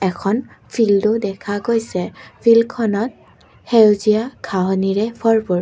এখন ফিল্ডদো দেখা গৈছে ফিল্ডখনত সেউজীয়া ঘাঁহনিৰে ভৰপূৰ।